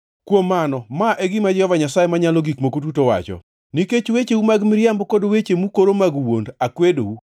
“ ‘Kuom mano ma e gima Jehova Nyasaye Manyalo Gik Moko Duto wacho: Nikech wecheu mag miriambo kod weche mukoro mag wuond, akwedou.